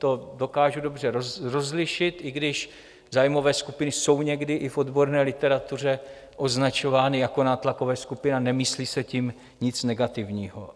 To dokážu dobře rozlišit, i když zájmové skupiny jsou někdy i v odborné literatuře označovány jako nátlakové skupiny a nemyslí se tím nic negativního.